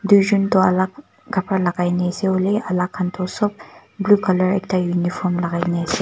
tuijun tho alak kabra lagai na ase hoilebi alak kan tu sob blue color ekta uniform lagai na ase.